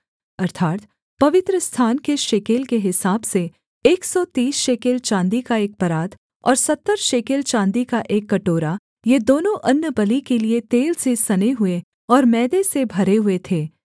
अर्थात् पवित्रस्थान के शेकेल के हिसाब से एक सौ तीस शेकेल चाँदी का एक परात और सत्तर शेकेल चाँदी का एक कटोरा ये दोनों अन्नबलि के लिये तेल से सने हुए और मैदे से भरे हुए थे